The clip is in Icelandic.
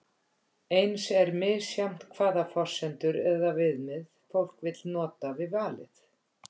Eins er misjafnt hvaða forsendur eða viðmið fólk vill nota við valið.